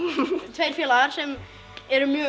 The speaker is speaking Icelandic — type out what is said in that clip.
tveir félagar sem erum mjög